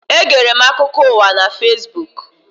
Egere m akụkọ ụwa na Fesbuku.